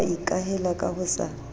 wa ikahela ka ho sa